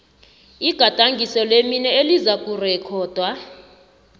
igadangiso lemino elizakurekhodwa